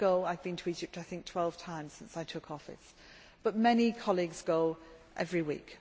I go I have been to Egypt I think 12 times since I took office but many colleagues go every week.